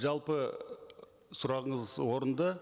жалпы сұрағыңыз орынды